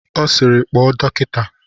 Ọ sịịrị, kpọọ dọkịta!